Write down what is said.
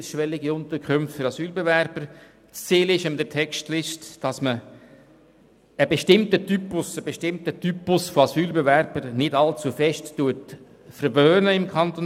Das Ziel ist es, einen bestimmten Typus von Asylbewerbern im Kanton Bern nicht allzu sehr zu verwöhnen.